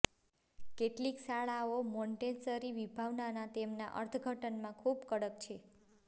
કેટલીક શાળાઓ મોંટેસરી વિભાવનાના તેમના અર્થઘટનમાં ખૂબ કડક છે